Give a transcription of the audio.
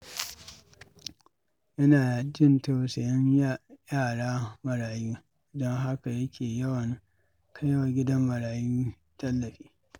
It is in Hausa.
Yana jin tausayin yara marayu, don haka yake yawan kai wa gidan marayu tallafi.